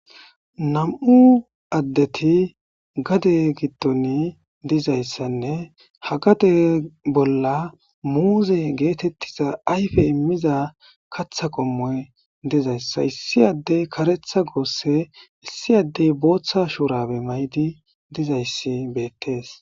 nam7u addeti gade giddon dizayssanne hagade bolla muuze geetettiza ayfe immiza katha qommoy dizayssa issi addey karetha goosse issi addey booththa shuurabe maydi dizayssi beettees